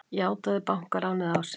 Játaði bankaránið á sig